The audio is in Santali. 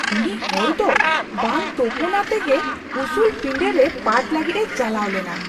ᱩᱱᱤ ᱦᱚᱲ ᱫᱚ ᱵᱟᱝ ᱛᱚᱯᱚᱱᱟᱛᱮ ᱜᱮ ᱩᱥᱩᱞ ᱯᱤᱸᱰᱟᱹ ᱨᱮ ᱯᱟᱴᱷ ᱞᱟᱹᱜᱤᱫᱼᱮ ᱪᱟᱞᱟᱣ ᱞᱮᱱᱟ ᱾